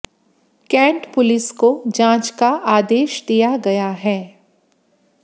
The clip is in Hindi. कैंट पुलिस को जांच का आदेश दिया गया है